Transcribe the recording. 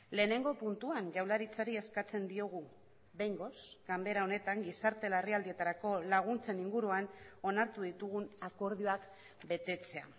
lehenengo puntuan jaurlaritzari eskatzen diogu behingoz ganbera honetan gizarte larrialdietarako laguntzen inguruan onartu ditugun akordioak betetzea